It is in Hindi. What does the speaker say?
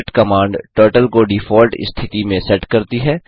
रिसेट कमांड टर्टल को डिफाल्ट स्थिति में सेट करती है